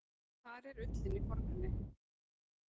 Þar er ullin í forgrunni.